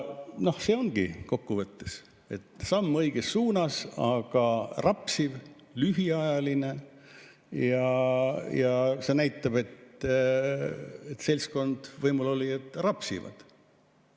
Ja see ongi: kokkuvõttes samm õiges suunas, aga rapsiv ja lühiajaline, mis näitab, et seltskond võimulolijaid rapsivad.